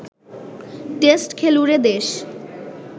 test খেলুড়ে দেশ